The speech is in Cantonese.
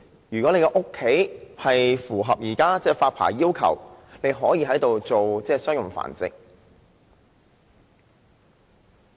如果住所符合現時的發牌要求，便可進行商業繁殖。